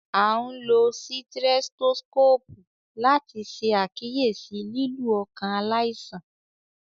A n lo sitrẹtoskopu lati ṣe akiyesi lilu ọkan alaisan